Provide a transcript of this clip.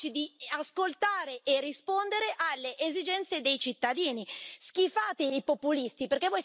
Siete chiusi nei palazzi e incapaci di ascoltare e rispondere alle esigenze dei cittadini.